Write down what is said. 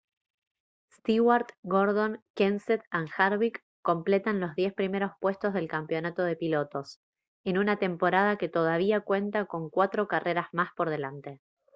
stewart gordon kenseth and harvick completan los diez primeros puestos del campeonato de pilotos en una temporada que todavía cuenta con cuatro carreras más por delante